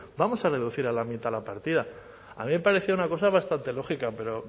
vamos a reducir a la mitad la partida a mí me parecía una cosa bastante lógica pero